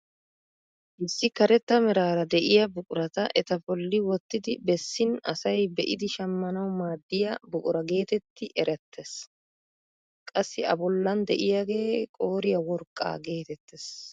Issi karetta meraara de'iyaa buqurata eta bolli wottidi bessin asay be'idi shammanawu maaddiyaa buqura getetti erettees. Qassi a bollan de'iyaagee qooriyaa worqqaa getettees.